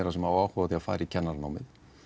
sem hafa áhuga á að fara í kennaranámið